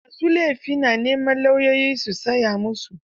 Ma su laifi na neman lauyoyi su tsaya musu.